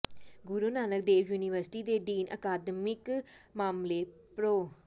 ਗੁਰੂ Nanak Dev university ਦੇ dean ਅਕਾਦਮਿਕ ਮਾਮਲੇ ਪ੍ਰਰੋ